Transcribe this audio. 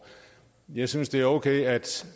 jeg synes det er okay at